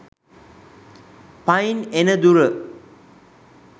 පයින් එන දුර.